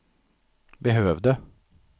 behövde